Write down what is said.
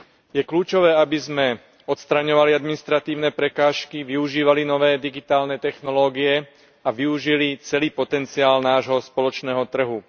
Je kľúčové, aby sme odstraňovali administratívne prekážky, využívali nové digitálne technológie a využili celý potenciál nášho spoločného trhu.